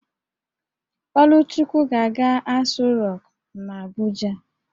Oluchukwu ga-aga Aso rock n'Abuja